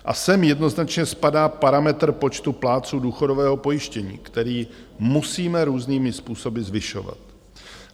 A sem jednoznačně spadá parametr počtu plátců důchodového pojištění, který musíme různými způsoby zvyšovat.